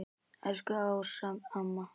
Elsku Ása amma.